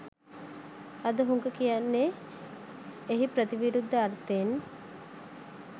අද හුඟ කියන්නේ එහි ප්‍රතිවිරුද්ධ අර්ථයෙන්